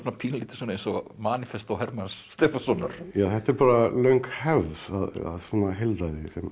pínulítið eins og Hermanns Stefánssonar þetta er bara löng hefð svona heilræði